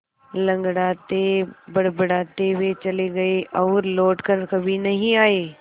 लँगड़ाते बड़बड़ाते वे चले गए और लौट कर कभी नहीं आए